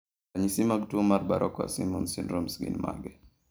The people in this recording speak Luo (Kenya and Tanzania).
Ranyisi mag tuwo mar Barraquer Simons syndrome gin mage?